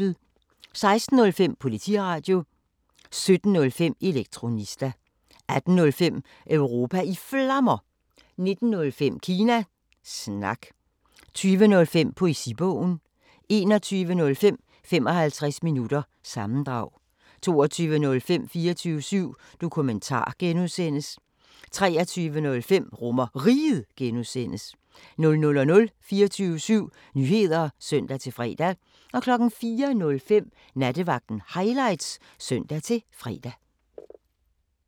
16:05: Politiradio 17:05: Elektronista 18:05: Europa i Flammer 19:05: Kina Snak 20:05: Poesibogen 21:05: 55 minutter – sammendrag 22:05: 24syv Dokumentar (G) 23:05: RomerRiget (G) 00:00: 24syv Nyheder (søn-fre) 04:05: Nattevagten Highlights (søn-fre)